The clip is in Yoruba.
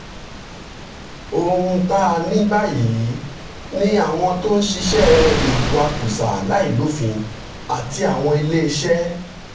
ohun tá a ní báyìí ni àwọn tó ń ṣiṣẹ́ ìwakùsà láìlófin àti àwọn ilé iṣẹ́